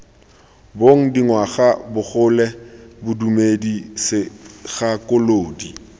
bong dingwaga bogole bodumedi segakolodi